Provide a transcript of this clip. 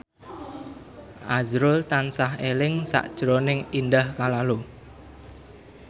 azrul tansah eling sakjroning Indah Kalalo